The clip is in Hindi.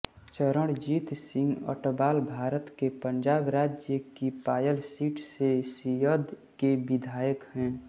चरणजीत सिंह अटवाल भारत के पंजाब राज्य की पायल सीट से शिअद के विधायक हैं